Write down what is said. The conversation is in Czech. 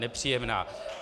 Nepříjemná.